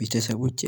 ቤተሰቦቼ